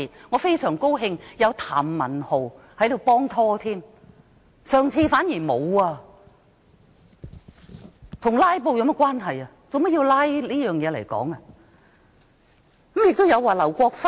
我非常高興今次有譚文豪議員幫忙，上屆反而沒有人幫忙，這與"拉布"有何關係？